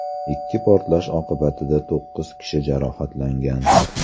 Ikki portlash oqibatida to‘qqiz kishi jarohatlangan.